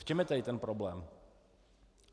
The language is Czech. V čem je tedy ten problém?